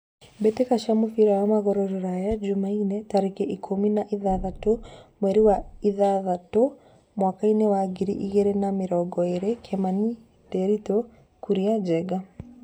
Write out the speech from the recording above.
Mbĩtĩka cia mũbira wa magũrũ Ruraya Jumaine tarĩki ikũmi na ithathatũ mweri wa ĩtandatũ mwakainĩ wa ngiri igĩrĩ na mĩrongo ĩrĩ: Kimani, Ndiritu, Kuria, Njenga.